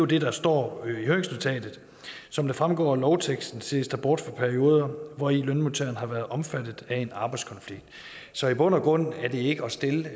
det der står i høringsnotatet som det fremgår af lovteksten ses der bort fra perioder hvori lønmodtageren har været omfattet af en arbejdskonflikt så i bund og grund er det ikke at stille